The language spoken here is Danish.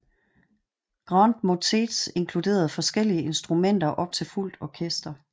Grand motets inkluderede forskellige instrumenter op til fuldt orkester